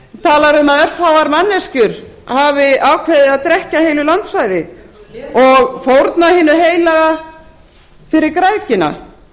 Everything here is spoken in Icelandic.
talar um að örfáar manneskjur hafi ákveðið að drekkja heilu landsvæði og fórna hinu heilaga fyrir græðgina